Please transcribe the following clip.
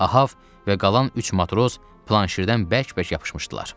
Ahav və qalan üç matros planşirdən bərk-bərk yapışmışdılar.